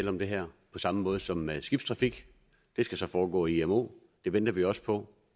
om det her på samme måde som med skibstrafik det skal så foregå i imo det venter vi også på